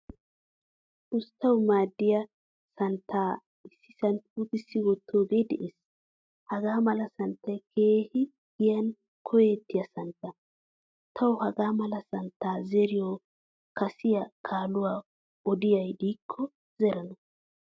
Usttawu maaddiyaa santta issisan puutisidi wottoge de'ees. Hagaamala santtay keehin giyan koyettiya santta. Tawu hagaamala santta zeeriyo kasiya kaaluwa odiyay de'iyakko zerana.